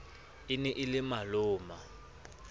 e ne e le maloma